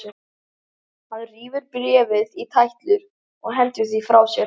Hann rífur bréfið í tætlur og hendir því frá sér.